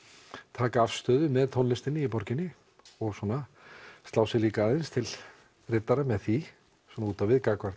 taka afstöðu með tónlistinni í borginni og svona slá sér líka aðeins til riddara með því svona út á við gagnvart